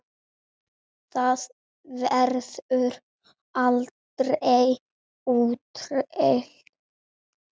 Það verður aldrei úrelt.